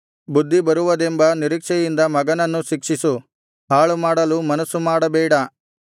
ಬುದ್ಧಿ ಬರುವುದೆಂಬ ನಿರೀಕ್ಷೆಯಿಂದ ಮಗನನ್ನು ಶಿಕ್ಷಿಸು ಹಾಳುಮಾಡಲು ಮನಸ್ಸು ಮಾಡಬೇಡ